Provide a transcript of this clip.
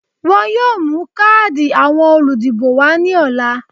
Wọ́n yóò mú káàdì àwọn olùdìbò wá ní ọ̀la